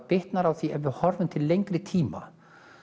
bitnar á því ef við horfum til lengri tíma